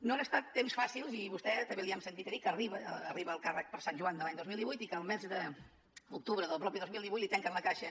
no han estat temps fàcils i a vostè també li hem sentit a dir que arriba al càrrec per sant joan de l’any dos mil divuit i que el mes d’octubre del mateix dos mil divuit li tanquen la caixa